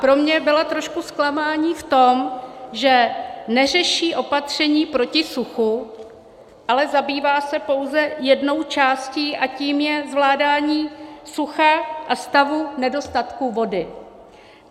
Pro mě byla trošku zklamáním v tom, že neřeší opatření proti suchu, ale zabývá se pouze jednou částí, a tou je zvládání sucha a stavu nedostatku vody.